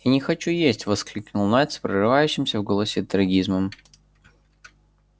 я не хочу есть воскликнул найд с прорывающимся в голосе трагизмом